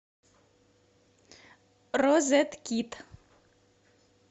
розет кит